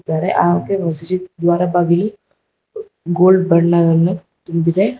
ದ್ವಾರ ಬಾಗಿಲು ಗೋಲ್ಡ್ ಬಣ್ಣದವನ್ನು ತುಂಬಿದೆ.